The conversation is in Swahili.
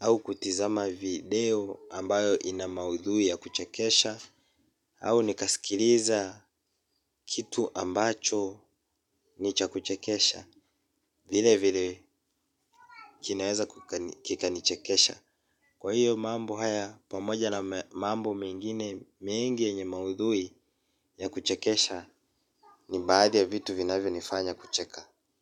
au kutizama video ambayo ina maudhui ya kuchekesha. Au nikaskiliza kitu ambacho ni cha kuchekesha. Vile vile kinaweza kika nichekesha. Kwa hiyo mambo haya pamoja na mambo mengine mengi yenye maudhui ya kuchekesha ni baadhi ya vitu vinavyo nifanya kucheka.